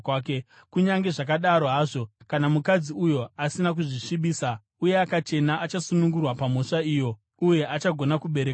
Kunyange zvakadaro hazvo, kana mukadzi uyo asina kuzvisvibisa uye akachena achasunungurwa pamhosva iyo uye achagona kubereka vana.